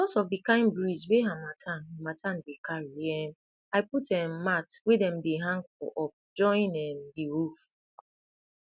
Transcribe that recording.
because of the kind breeze wey harmattan harmattan dey carry um i put um mat wey dem dey hang for up join um the roof